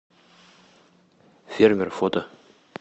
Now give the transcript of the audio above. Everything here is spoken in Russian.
фермер фото